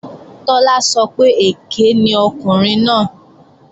Tọ́lá sọ pé èké ni ọkùnrin náà